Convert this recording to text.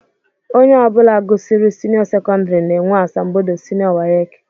Ónyé ọbula gụsịrị seniô sekondari na -enwe asambodo seniô wace.